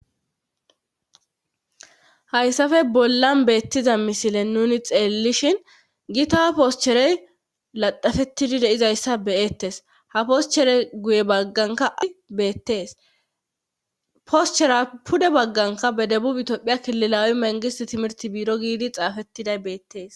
Hayssafe bollan beettiza misile nuni xeellishin gitaha poscherey laXafettidi deizayssa beyettes ha poscherey guye bagganka ai beettees poschera pude bagganka bedebu itophiya kililawi mengistimirti biiro giidi xaafettiday beettees.